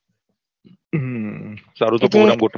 હમ સારું તો program ગોઠવીએ